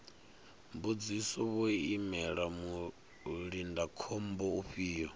mbudziso vho imela mulindakhombo ufhio